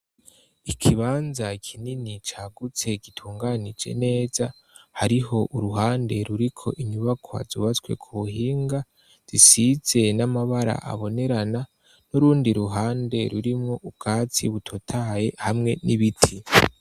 Ikibanza kinini cagutse gitunganije neza, hariho uruhande ruriko inyubakwa zubatswe ku buhinga, zisize n'amabara abonerana, n'urundi ruhande rurimwo ubwatsi butotaye ,hamwe n'ibiti.